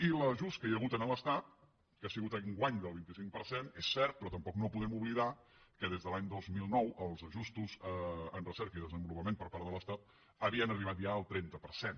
i l’ajust que hi ha hagut a l’estat que ha sigut enguany del vint cinc per cent és cert però tampoc no podem oblidar que des de l’any dos mil nou els ajustos en recerca i desenvolupament per part de l’estat havien arribat ja al trenta per cent